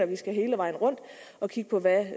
vi skal hele vejen rundt og kigge på hvad